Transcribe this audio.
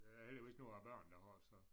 Det er der heldigvis nogle af børnene der har så